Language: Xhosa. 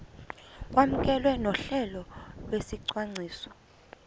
kwamkelwe nohlelo lwesicwangciso